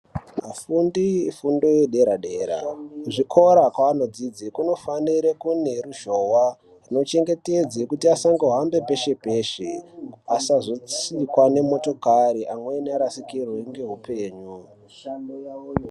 Vafundi vefundo yedera dera kuzvikora zvavanodzidza kunofanira kunge kune ruzhowa inochengetedza peshe peshe asazotsikwa nemotokari vanhu vamweni varasikirwe nehupenyu mishando yawoyo.